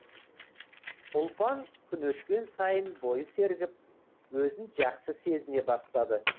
ұлпан күн өткен сайын бойы сергіп өзін жақсы сезіне бастады